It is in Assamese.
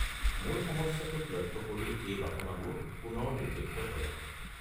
মূল সমস্যাটোক লক্ষ্য কৰি এই বাসনাবোৰ পুনৰ নিৰ্দেশিত কৰক।